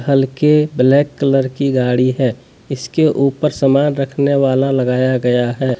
हल्के black colour की गाड़ी है इसके ऊपर सामान रखने वाला लगाया गया है।